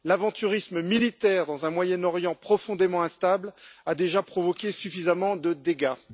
L'aventurisme militaire dans un Moyen Orient profondément instable a déjà provoqué suffisamment de dégâts.